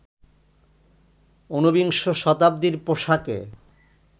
উনবিংশ শতাব্দীর পোশাকে